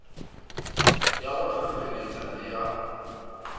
ya go hlohleletpa le ya